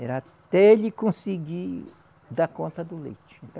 Era até ele conseguir dar conta do leite.